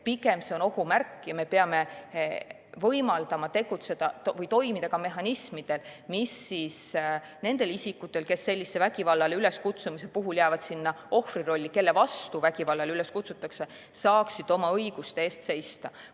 Pigem on see ohumärk ja me peame võimaldama toimida ka mehhanismidel, mis laseks nendel isikutel, kes vägivallale üleskutsumise puhul jäävad ohvri rolli, kelle vastu vägivallale üles kutsutakse, oma õiguste eest seista.